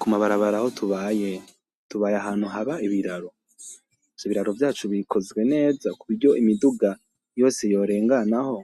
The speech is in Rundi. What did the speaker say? Kumabarabara aho tubaye , tubaye ahantu haba ibiraro, ivyo biraro vyacu bikozwe neza kuburyo imiduga yose yorenganaho